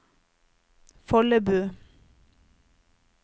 Follebu